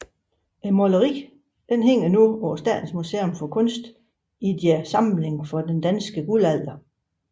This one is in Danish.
Maleriet hænger nu på Statens Museum for Kunst i deres samling for Den danske Guldalder